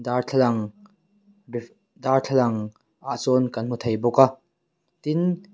darthlalang darthlalang ah sawn kan hmu thei bawk a tin --